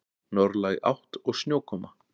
Norðlæg átt og snjókoma